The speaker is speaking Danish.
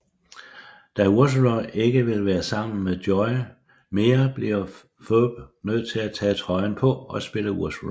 Da Ursula ikke vil være sammen med Joey mere bliver Phoebe nødt til at tage trøjen på og spille Ursula